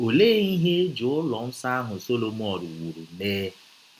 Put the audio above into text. Ọlee ihe e ji ụlọ nsọ ahụ Sọlọmọn wụrụ mee?